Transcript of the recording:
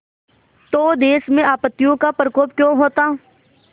तो देश में आपत्तियों का प्रकोप क्यों होता